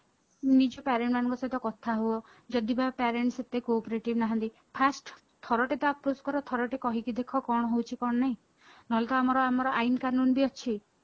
ନିଜ parent ମାନଙ୍କ ସହିତ କଥା ହୁଅ ଯଦି ବା parent ସେତେ cooperative ନାହାନ୍ତି first ଥରଟେ ତ approach କର ଥରଟେ କହିକି ଦେଖ କଣ ହଉଛି କଣ ନାହିଁ ନହଲେ ତ ଆମର ଆମର ଆଇନ କାନୁନ ବି ଅଛି